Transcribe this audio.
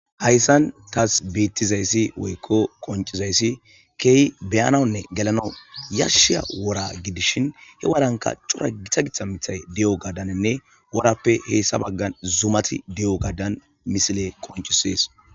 Hayssan taasi bettizaysi woykko qonccizaysi kehi be'anawune gellanawu yashshiya wora giddidhin he worannika coora giita giita miththay diyogadaninne worappe hessa baggan zuumati diyogadan missiley qonccises.